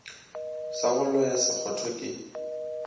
sa go loya sekgotho ke